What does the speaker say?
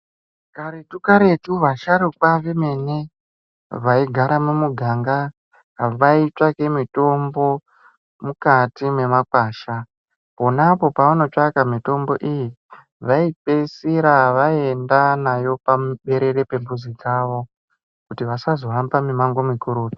Karetu karetu vasharukwa vemene vaigara mumuganga vaitsvake mitombo mukati memakwasha. Ponapo pavanotsvaka mitombo iyi, vaipedzisira vaenda nayo paberere rembuzi pavo, kuti vasazohamba mimango mikurutu.